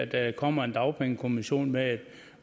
der kommer en dagpengekommission med et